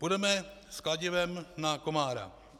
Půjdeme s kladivem na komára.